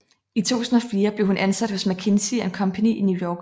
I 2004 blev hun ansat hos McKinsey and Company i New York